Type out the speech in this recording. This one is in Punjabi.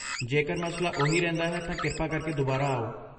ਜੇਕਰ ਮਸਲਾ ਉਹੀ ਰਹਿੰਦਾ ਹੈ ਤਾਂ ਕਿਰਪਾ ਕਰਕੇ ਦੁਬਾਰਾ ਆਓ।